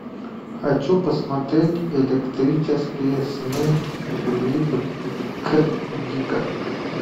хочу посмотреть электрические сны филипа к дика